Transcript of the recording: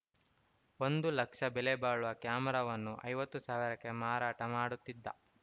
ಒಂದು ಲಕ್ಷ ಬೆಲೆ ಬಾಳುವ ಕ್ಯಾಮೆರಾವನ್ನು ಐವತ್ತು ಸಾವಿರಕ್ಕೆ ಮಾರಾಟ ಮಾಡುತ್ತಿದ್ದ